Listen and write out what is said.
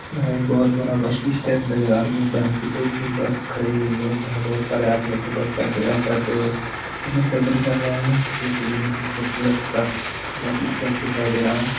यह एक बहुत बड़ा बस स्टैन्ड नजर आ रहा है | जहाँ दो तीन बस खड़ी हुई है जहाँ पे बहुत सारे आदमी अपने बस का इंतज़ार करते हुए सब्र कर रहे है जो की बहुत ही खूबसरत सा बस स्टैन्ड दिखाई दे रहा है।